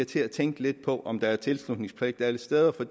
til at tænke lidt på om være tilslutningspligt alle steder for